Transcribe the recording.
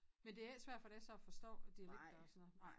Men det er ikke svært for dig så at forstå dialekter og sådan noget nej